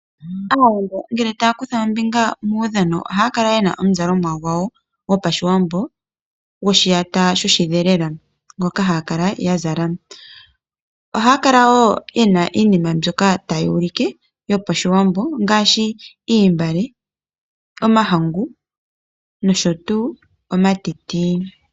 Aawambo ngele taya kutha ombinga muudhano ohaya kala yena omuzalomwa gwawo gOpashiwambo goshiyata sho shi dhelela, ngoka haya kala ya zala. Ohaya kala wo yena iinima mbyoka tayi ulike yo paShiwambo ngaashi iimbale, omahangu, nosho tuu omatiti.